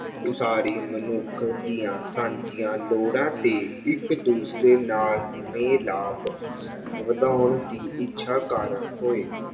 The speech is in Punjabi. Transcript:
ਉਸਾਰੀ ਮਨੁੱਖ ਦੀਆਂ ਸਾਂਝੀਆਂ ਲੋੜਾਂ ਤੇ ਇੱਕ ਦੂਸਰੇ ਨਾਲ ਮਿਲਾਪ ਵਧਾਉਣ ਦੀ ਇੱਛਾ ਕਾਰਨ ਹੋਏ।